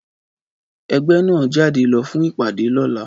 Ẹgbẹ́ náà ń jáde lọ fún ìpàdé lọ́la